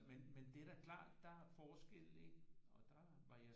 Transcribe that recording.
Men men det er da klart der er forskelle ikke og der var jeg